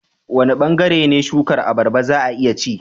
Wane bangare ne na shukar abarba za a iya ci?